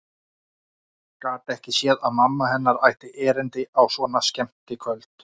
Gat ekki séð að mamma hennar ætti erindi á svona skemmtikvöld.